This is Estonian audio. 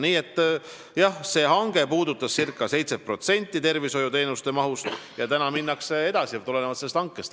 Nii et jah, see hange puudutas ca 7% tervishoiuteenuste mahust ja täna minnakse edasi tulenevalt sellest hankest.